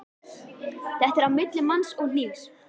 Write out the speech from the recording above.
Þetta er á milli manns og hnífs.